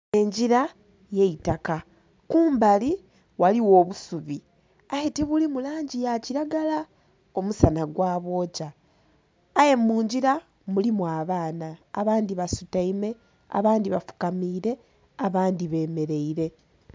Engira ey'eitaka. Kumbali ghaligho obusubi aye tibuli mu langi ya kilagala, omusana gwabwokya. Aye mungira mulimu abaana abandhi basutaime, abandhi bafukamiire, abandhi bemeleire.